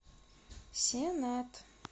сенат